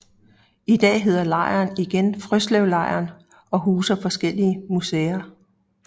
I dag hedder lejren igen Frøslevlejren og huser forskellige museer